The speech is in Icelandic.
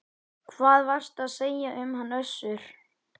Hvað varstu að segja um hann Össur?